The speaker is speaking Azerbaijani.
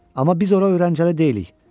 amma biz ora öyrəncəli deyilik.